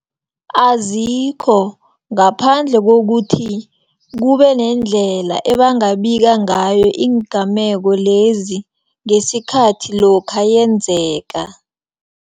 Azikho, ngaphandle kokuthi kubenendlela ebangabika ngayo iingameko lezi, ngesikhathi lokha yenzeka.